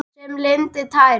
Sem lindin tær.